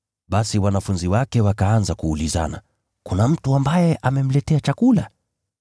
Basi wanafunzi wakaanza kuulizana, “Kuna mtu ambaye amemletea chakula?”